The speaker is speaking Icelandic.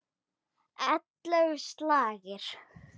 Ellefu slagir.